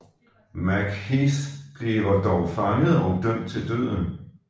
MacHeath bliver dog fanget og dømt til døden